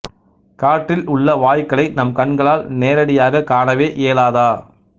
காற்றில் உள்ள வாயுக்களை நம் கண்களால் நேரடியாகக் காணவே இயலாதா